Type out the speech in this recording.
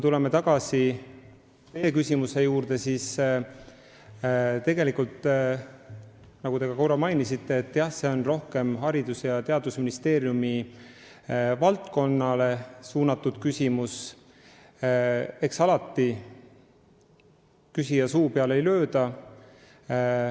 Tulles tagasi küsimuse juurde, siis nagu te ka korra mainisite, on see küsimus rohkem Haridus- ja Teadusministeeriumi valdkonna kohta, aga küsija suu peale ei lööda.